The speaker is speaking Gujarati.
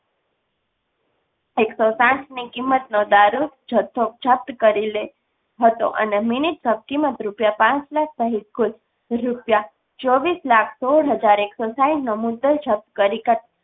એકસો સાત ની કિંમત નો દારૂ જથ્થો જપ્ત કરેં. કીમત રૂપિયા પાંચ લાખ સહિત કુલ રૂપિયા ચોવીસ લાખ સોડ હાજર એક્સો સાઈઠ.